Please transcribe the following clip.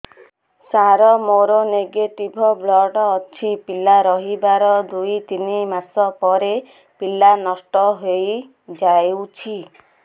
ସାର ମୋର negative blood ଅଛି ପିଲା ରହିବାର ଦୁଇ ତିନି ମାସ ପରେ ପିଲା ନଷ୍ଟ ହେଇ ଯାଉଛି